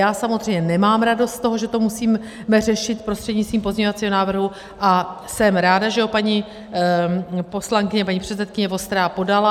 Já samozřejmě nemám radost z toho, že to musíme řešit prostřednictvím pozměňovacího návrhu, a jsem ráda, že ho paní poslankyně, paní předsedkyně Vostrá podala.